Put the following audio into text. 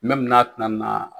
n'a tɛna na